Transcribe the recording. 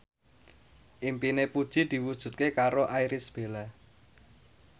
impine Puji diwujudke karo Irish Bella